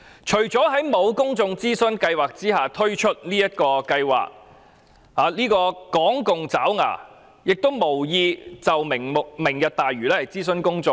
除政府未有諮詢公眾便推出這個計劃外，港共爪牙亦無意就"明日大嶼"諮詢公眾。